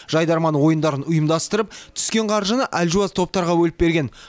жайдарман ойындарын ұйымдастырып түскен қаржыны әлжуаз топтарға бөліп берген